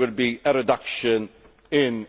would be reduction in